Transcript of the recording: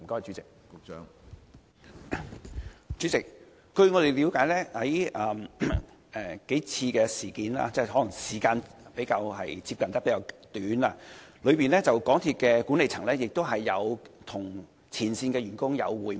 主席，據我們了解，在發生數次事故後，可能因為事故發生的時間相近，港鐵管理層曾與前線員工會面。